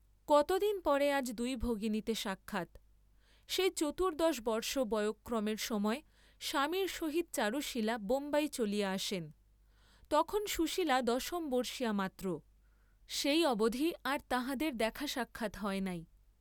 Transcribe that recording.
কত দিন পরে আজ দুই ভগিনীতে সাক্ষাৎ, সেই চতুর্দ্দশ বর্ষ বয়ঃক্রমের সময় স্বামীর সহিত চারুশীলা বোম্বাই চলিয়া আসেন, তখন সুশীলা দশম বর্ষীয়া মাত্র; সেই অবধি আর তাঁহাদের দেখা সাক্ষাৎ হয় নাই।